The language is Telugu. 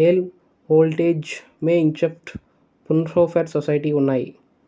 హేల్మ్ హొల్ట్జ్గేమేఇన్స్చఫ్ట్ ఫ్రున్హోఫెర్ సొసైటీ ఉన్నాయి